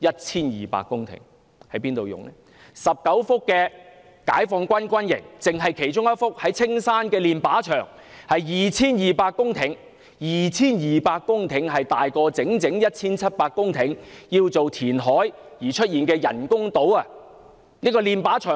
此外，有19幅解放軍軍營土地，單是一幅位於青山的練靶場土地，已達 2,200 公頃，這 2,200 公頃的土地已超過 1,700 公頃由填海建造的人工島土地。